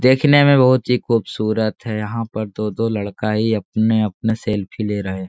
देखने में बहुत ही खूबसूरत है यहाँ पर दो-दो लड़का ही अपने-अपने सेल्फी ले रहे --